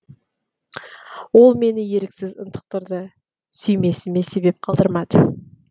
ол мені еріксіз ынтықтырды сүймесіме себеп қалдырмады